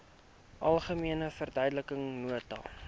algemene verduidelikende nota